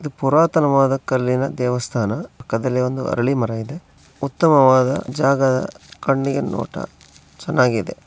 ಇದು ಪುರಾತನವಾದ ಕಲ್ಲಿನ ದೇವಸ್ಥಾನ. ಪಕ್ಕದಲ್ಲಿ ಒಂದು ಅರಳಿ ಮರ ಇದೆ ಉತ್ತಮವಾದ ಜಾಗ ಕಣ್ಣಿಗೆ ನೋಟ ಚೆನ್ನಾಗಿದೆ.